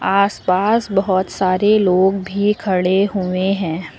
आसपास बहुत सारे लोग भी खड़े हुए हैं।